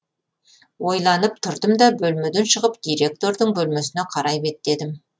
ойланып тұрдым да бөлмеден шығып директордың бөлмесіне қарай беттедім